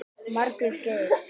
Margrét Geirs.